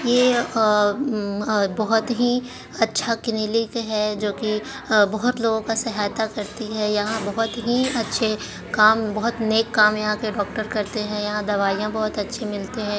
ये अ-हम्म-अ बोहोत ही अच्छा क्लिनिक है। जो की अ बोहोत लोगो का सहायता करती है। यहाँ बोहोत ही अच्छे काम बोहोत नेक काम यहाँ के डॉक्टर करते है। यहाँ दवायीं बोहोत अच्छी मिलते हैं।